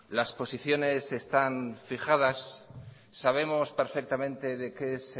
las posiciones están fijadas sabemos perfectamente de qué